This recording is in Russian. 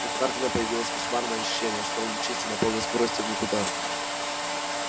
у хардина появилось кошмарное ощущение что он мчится на полной скорости в никуда